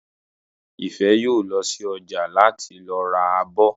Ìfẹ́ yóò lọ sí ọjà láti lọ ra abọ́